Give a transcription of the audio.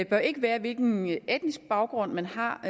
bør ikke være hvilken etnisk baggrund man har og